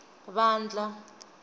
vandla